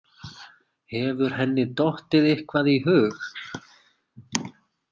Hefur henni dottið eitthvað í hug?